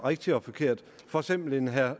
rigtigt og forkert for eksempel en herre